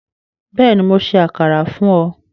Bẹ́ẹ̀ni, Mó ṣẹ àkàrà fún ọ